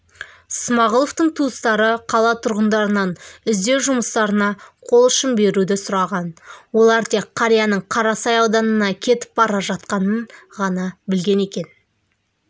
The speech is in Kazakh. смағұловтың туыстары қала тұрғындарынан іздеу жұмыстарына қол ұшын беруді сұраған олар тек қарияның қарасай ауданына кетіп бара жатқанынан ғана білген екен